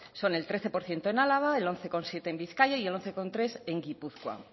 son el trece por ciento en álava el once coma siete en bizkaia y el once coma tres en gipuzkoa